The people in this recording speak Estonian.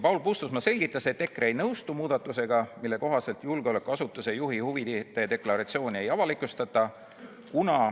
Paul Puustusmaa selgitas, et EKRE ei nõustu muudatusega, mille kohaselt julgeolekuasutuse juhi huvide deklaratsiooni ei avalikustata.